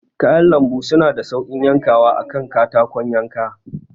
Kayan lambu suna da sauƙin yankawa a kan katakon yanka.